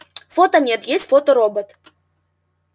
фото нет есть фоторобот